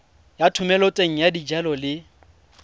ya thomeloteng ya dijalo le